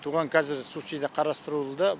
оған кәзір субсидия қарастырылуда